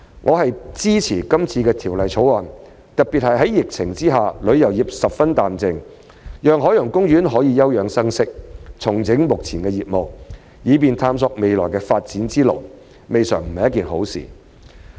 我支持今次的《條例草案》，特別是在疫情下旅遊業十分淡靜，讓海洋公園可以休養生息、重整目前的業務，以便探索未來的發展之路，未嘗不是一件好事。